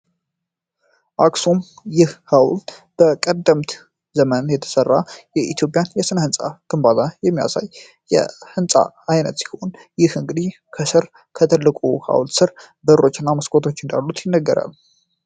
አክሱም ይህ ሃውልት በቀደምት ዘመን የተሠራ የኢትዮጵያን የስነ-ሕንፃ ክንባላ የሚያሳይ የሕንፃ ዓይነት ሲሆን ይህ እንግዲ ከሥር ከትልቁ ሀውል ሥር በእሮች እና መስኮቶች እንዳሉት ይነገራል።